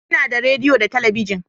Ina da rediyo da talabijin